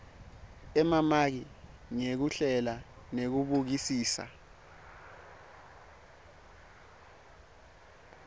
emamaki ngekuhlela nekubukisisa